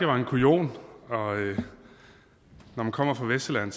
var en kujon og når man kommer fra vestsjælland